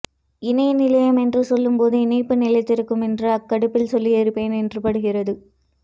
இணைய நிலையம் என்று சொல்லும்போது இணைப்பு நிலைத்திருக்கும் என்றும் அக்காடுப்பில் சொல்லியிருப்பேன் என்றும் படுகிறது